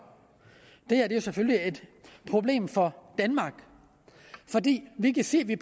det her er jo selvfølgelig et problem for danmark fordi vi kan se at vi